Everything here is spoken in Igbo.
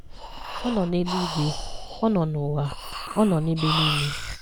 Ọ nọ n'eluigwe, ọ nọ n'ụwa, ọ nọ n'ebe nile.